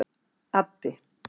Addi